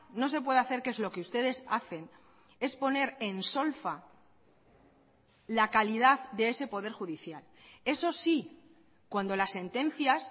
no se puede hacer que es lo que ustedes hacen es poner en solfa la calidad de ese poder judicial eso sí cuando las sentencias